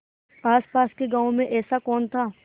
आसपास के गाँवों में ऐसा कौन था